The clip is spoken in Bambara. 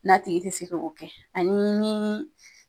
N'a tigi tɛ se ka k'o kɛ ani ni